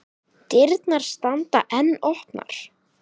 Dyrnar standa enn opnar.